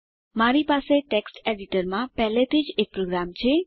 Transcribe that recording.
મારી પાસે ટેક્સ્ટ એડીટરમાં પહેલાથી જ એક પ્રોગ્રામ છે